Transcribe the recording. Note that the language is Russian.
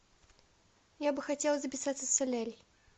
я бы хотела записаться в солярий